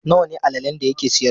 Nawa ne allalen da yake siyarwa?